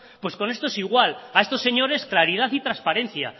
pues con estos igual a estos señores claridad y transparencia